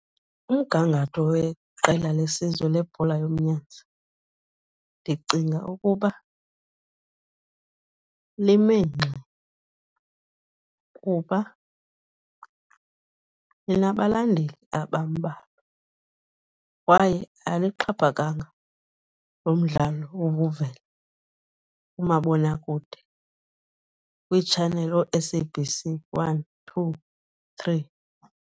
Umgangatho weqela lesizwe lebhola yomnyazi ndicinga ukuba lime ngxi kuba linabalandeli abambalwa, kwaye alixhaphakanga loo mdlalo ukuvela kumabonakude kwiitshaneli oo-S_A_B_C one, two, three.